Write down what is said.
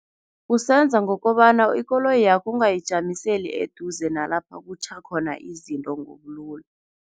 Usenza ngokobana ikoloyakho ungayijamiseli eduze nalapha kutjha khona izinto ngobulula.